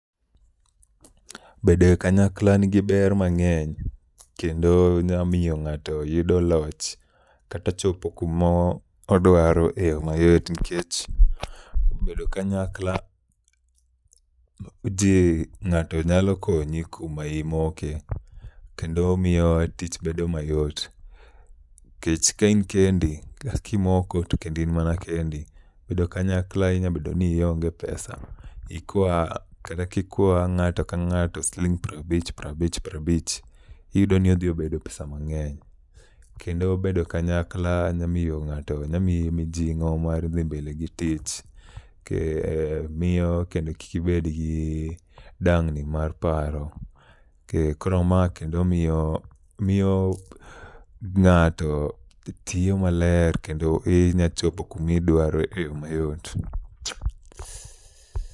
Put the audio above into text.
Bedo e kanyakla nigi ber mang'eny, kendo nyamiyo ng'ato yudo loch kata chopo kumodwaro e yo mayot. Nikech bedo kanyakla ji ng'ato nyalo konyi kuma imoke, kendo miyo tich bedo mayot. Kech ka in kendi kimoko to kendo in mana kendi. Bedo kanyakla inya bedo ni ionge pesa, ikwa kata kikwa ng'ato ka ng'ato siling' prabich prabich prabich, iyudo ni odhi obedo pesa mang'eny. Kendo bedo kanyakla nya miyo ng'ato nyamiyi mijing'o mar dhi mbele gi tich. Ke miyo kendo kikibed gi dang'ni mar paro, keh, koro ma kendo miyo miyo ng'ato tiyo maler. Kendo i nyachopo kumidwaro e yo mayot.